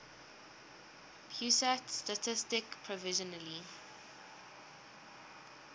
pusat statistik provisionally